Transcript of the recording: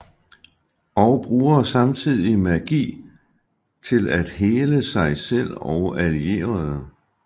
Og bruger samtidig magi til at hele sig selv og allierede